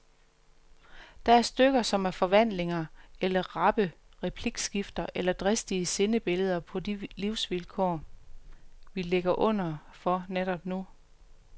Der er stykker, som er forvandlinger eller rappe replikskifter eller dristige sindebilleder på de livsvilkår, vi ligger under for netop nu.